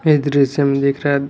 ये दृश्य में दिख रहा--